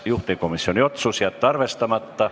Juhtivkomisjoni otsus: jätta arvestamata.